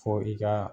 Fɔ i ka